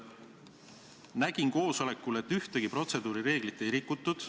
Nägin koosolekul, et ühtegi protseduurireeglit ei rikutud.